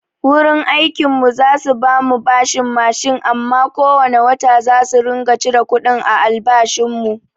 Wurin aikin mu za su bamu bashin mashin amma ko wane wata zasu ringa cire kuɗin a albashin mu.